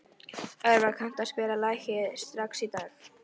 Orvar, kanntu að spila lagið „Strax í dag“?